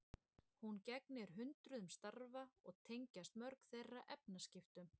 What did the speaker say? Hún gegnir hundruðum starfa og tengjast mörg þeirra efnaskiptum.